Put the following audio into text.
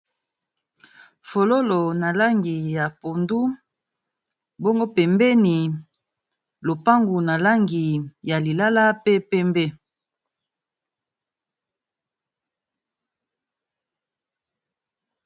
Fololo na langi ya pondu pe penbeni na langi ya lilala pee penbe.